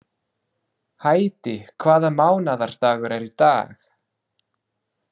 Hædý, hvaða mánaðardagur er í dag?